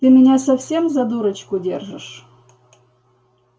ты меня совсем за дурочку держишь